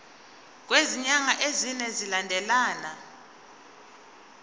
kwezinyanga ezine zilandelana